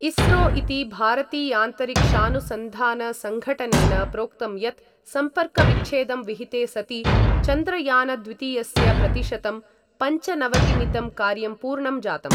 इस्रो इति भारतीयान्तरिक्षानुसंधानसंघटनेन प्रोक्तं यत् सम्पर्कविच्छेदं विहिते सति चन्द्रयानद्वितीयस्य प्रतिशतं पञ्चनवतिमितं कार्यं पूर्णं जातम्।